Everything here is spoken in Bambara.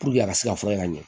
a ka se ka fɔ ka ɲɛ